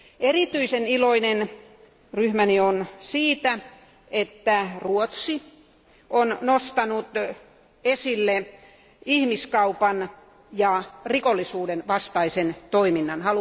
Erityisen iloinen ryhmäni on siitä, että Ruotsi on nostanut esille ihmiskaupan ja rikollisuuden vastaisen toiminnan.